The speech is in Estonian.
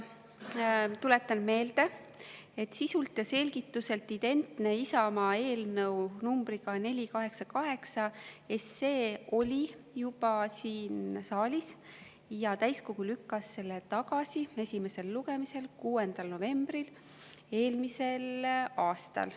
Tuletan meelde, et sisult ja selgituselt identne Isamaa eelnõu numbriga 488 oli juba siin saalis ja täiskogu lükkas selle tagasi esimesel lugemisel 6. novembril eelmisel aastal.